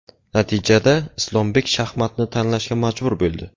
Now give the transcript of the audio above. Natijada Islombek shaxmatni tashlashga majbur bo‘ldi.